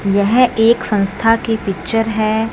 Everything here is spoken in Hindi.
यह एक संस्था की पिक्चर हैं।